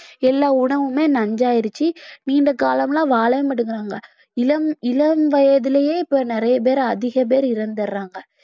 எல்லா உணவுமே நஞ்சாயிருச்சு நீண்ட காலம் எல்லாம் வாழவே மாட்டேங்கறாங்க இளம் இளம் வயதிலேயே இப்ப நிறைய பேர் அதிக பேர் இறந்துடுறாங்க